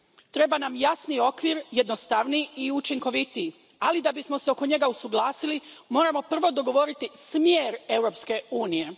Treba nam jasni okvir, jednostavniji i učinkovitiji, ali da bismo se oko njega usuglasili, moramo prvo dogovoriti smjer Europske unije.